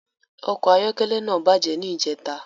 Ọkọ ayọkẹlẹ náà bàjẹ́ ni ìjẹta